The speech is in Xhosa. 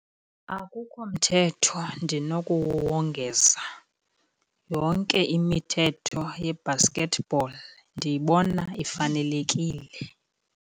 Akukho mthetho ndinokuwongeza. Yonke imithetho ye-basket ball ndiyibona ifanelekile.